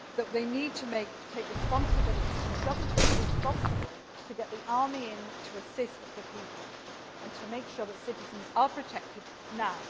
to you. They need to take responsibility the government is responsible for getting the army in to assist the people and to make sure that citizens are protected